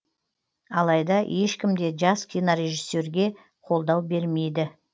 алайда ешкім де жас кинорежиссерге қолдау бермейді